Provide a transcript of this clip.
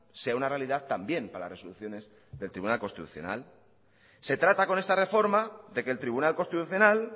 sea una realidad también para las resoluciones del tribunal constitucional se trata con esta reforma de que el tribunal constitucional